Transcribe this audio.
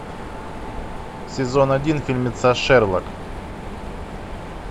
сезон один фильмеца шерлок